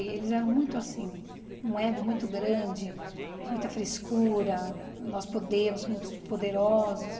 Eles eram muito assim, um ego muito grande, muita frescura, nós podemos, somos poderosos.